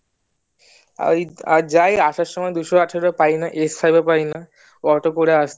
ওই যাই আসার সময় দুশো আঠারোও পাইনা five ও পাইনা auto করে